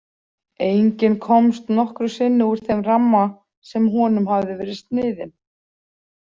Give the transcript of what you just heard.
Enginn komst nokkru sinni úr þeim ramma sem honum hafði verið sniðinn.